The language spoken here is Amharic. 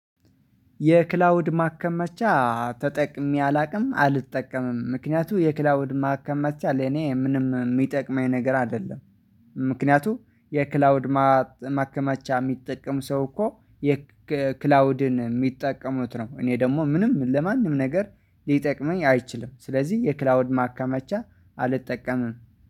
የክላውድ ማከማቻ ተጠቅሜ አላውቅም አልጠቀምም ምክንያቱም የክላውድ ማከመቻ ለኔ ምንም የሚጠቅመኝ ነገር አይደለም። ምክንያቱም የክላውድ ማከማቻ የሚጠቅም ሰው እኮ የክላውድን የሚጠቀሙት ነው። እኔ ደግሞ ምንም ለማንም ነገር ሊጠቅመኝ አይችልም። ስለዚህ የክላውድ ማከመቻ አልጠቀምም።